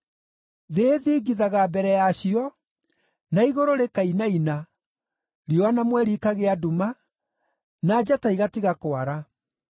Thĩ ĩthingithaga mbere yacio, na igũrũ rĩkainaina, riũa na mweri ikagĩa nduma, na njata igatiga kwara.